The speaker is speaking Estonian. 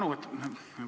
Suur tänu!